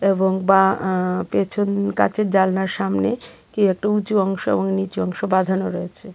এবং বা আঃ পেছন কাঁচের জানলার সামনে কি একটা উঁচু অংশ এবং নীচু অংশ বাঁধানো রয়েছে.